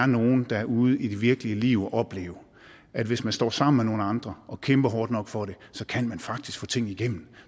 nogle derud i det virkelige liv og oplever at hvis man står sammen med nogle andre og kæmper hårdt nok for det så kan man faktisk få ting igennem